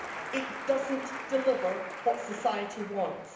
It doesn't deliver what society wants.